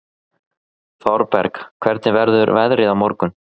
Thorberg, hvernig verður veðrið á morgun?